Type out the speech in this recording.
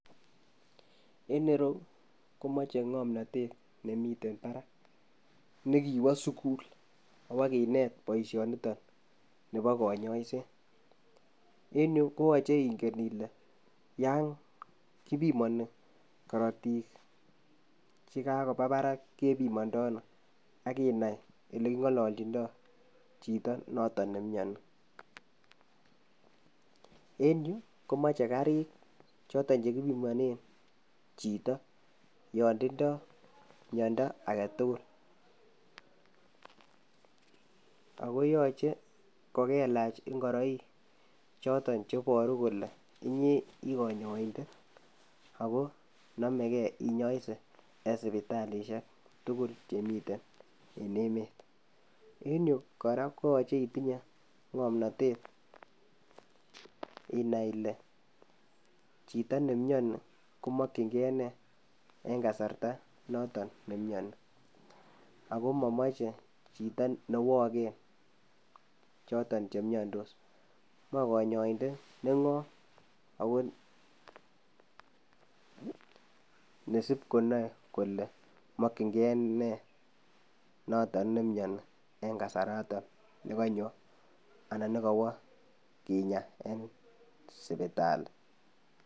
En ireyu komoche ng'omnotet nemiten parak nekiwo sukul awakinet boisionito nepo konyoiset. En yu koyoche ingen ile yon kipimoni korotik chekakopa parak kepimondo ano, akinai oleking'ololchindo chito noto nemiani, en yu komoche karik choton chekipimonen chito netindo miando aketugul, akoyoche kokelach ngoroik choton cheboru kole inyee ii konyoindet ako nomeke inyoise en sipitalisiek tugul chemiten en emet en yu kora koyoche itinye ng'omnotet inai ile chito nemiani komokyingee nee en kasarta noto nemiani ako momoche chito newoken choton chemiandos moe konyoindet neng'om ako nesip konoe kole mokyingee nee noto nemiani en kasarato nekonyo anan nekowo kinyaa en sipitali.